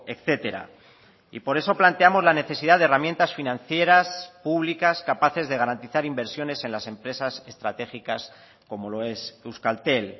etcétera y por eso planteamos la necesidad de herramientas financieras públicas capaces de garantizar inversiones en las empresas estratégicas como lo es euskaltel